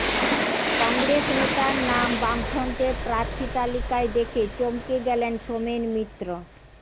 কংগ্রেস নেতার নাম বামফ্রন্টের প্রার্থী তালিকায় দেখে চমকে গেলেন সোমেন মিত্র